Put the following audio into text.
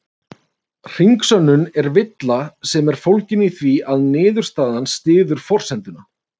Hringsönnun er villa sem er fólgin í því að niðurstaðan styður forsenduna.